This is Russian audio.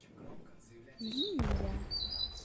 линия